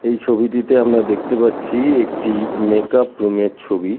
এই ছবিটিতে আমরা দেখতে পাচ্ছি একটি মেকআপ রুম -এর ছবি।